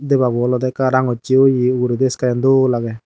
debabo ole de ekka rangosse oie uguredi sky an dol age.